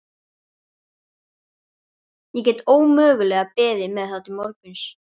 Ég get ómögulega beðið með það til morguns.